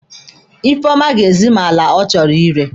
Ifeoma ga-ezi m ala ọ chọrọ ire.